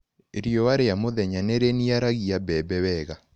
Riua rĩa mũthenya nĩrĩniaragia mbembe wega.